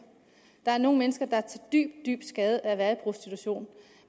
der er nogle mennesker er dybt dybt skadeligt at være i prostitution